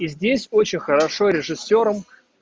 и здесь очень хорошо режиссёром